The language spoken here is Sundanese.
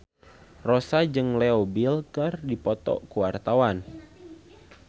Rossa jeung Leo Bill keur dipoto ku wartawan